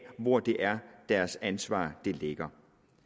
hvor det er deres ansvar ligger